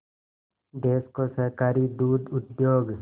देश को सहकारी दुग्ध उद्योग